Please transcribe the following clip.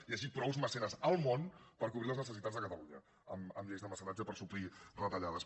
que hi hagi prou mecenes al món per cobrir les necessitats de catalunya amb lleis de mecenatge per suplir retallades